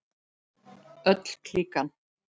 Öll klíkan.